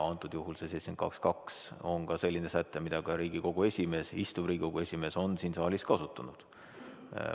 Antud juhul see § 72 lõige 2 on ka selline säte, mida ka Riigikogu esimees, istuv Riigikogu esimees on siin saalis kasutanud.